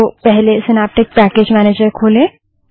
तो पहले Synaptic package manager खोलें